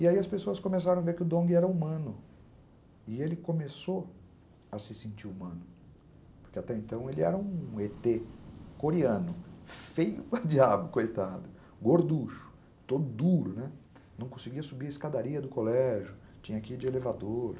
E aí as pessoas começaram a ver que o Dong era humano e ele começou a se sentir humano, porque até então ele era um êtê coreano, feio para diabo, coitado, gorducho, todo duro, não conseguia subir a escadaria do colégio, tinha que ir de elevador.